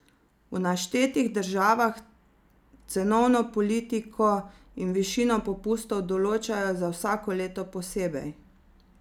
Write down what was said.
V naštetih državah cenovno politiko in višino popustov določajo za vsak leto posebej.